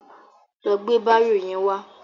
Lọ gbé bárò yẹn wá.